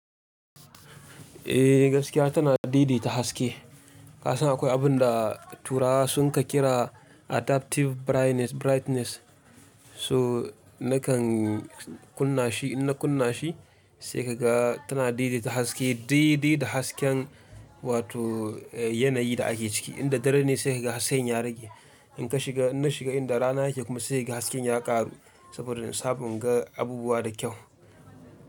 Eh gaskiya tana didi ta haske. Kasan akwai abun da turawa sun ka kira adaptive brightness. So na kan kunna shi, in na kunna shi sai ka ga tana dai-dai ta haske, dai dai da hasken wato yanayin da ake ciki. In da dare ne sai ka ga hasken ya rage. In ka shiga, in na shiga in da rana yake kuma sai ka ga hasken ya ƙaru saboda in samu inga abubuwa da kyau.